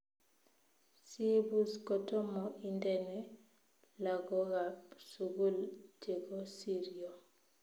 Siibuus kotomo indene lagookab sugul chegosiryo